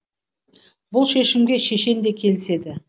бұл шешімге шешен де келіседі